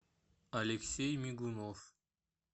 алексей мигунов